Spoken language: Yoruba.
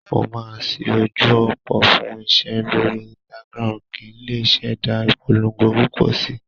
Mo máa ṣí ojú òpó fún iṣẹ́ lórí Instagram kí n lè ṣẹ̀dá ìpolongo púpọ̀ síi.